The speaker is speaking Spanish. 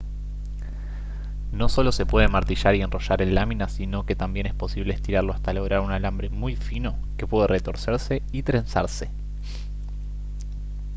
no solo se puede martillar y enrollar en láminas sino que también es posible estirarlo hasta lograr un alambre muy fino que puede retorcerse y trenzarse